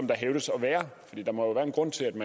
der hævdes at være